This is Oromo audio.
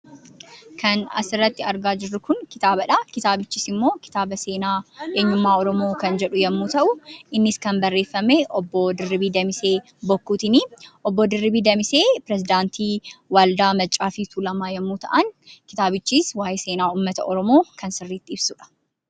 Kan asirratti argaa jirru Kun, kitaabadha. Kitaabichis immoo kitaaba seenaa eenyummaa oromo kan jedhu yemmuu ta'u. Innis kan barreeffame obboo Dirribii Damisee bokkuutiini. Obboo Dirribii Damisee perezidaantii waaldaa Maccaa fi Tuulamaa yemmuu ta'an, kitaabichis waa'ee seenaa uummata oromoo kan sirriitti ibsudha.